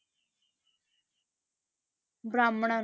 ਬ੍ਰਾਹਮਣਾਂ,